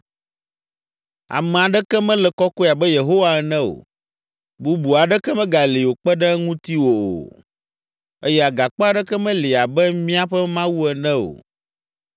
“Ame aɖeke mele kɔkɔe abe Yehowa ene o! Bubu aɖeke megali o kpe ɖe ŋutiwò o. Eye Agakpe aɖeke meli abe míaƒe Mawu ene o.